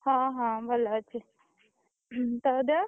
ହଁ ହଁ ଭଲ ଅଛି। ତୋ ଦେହ?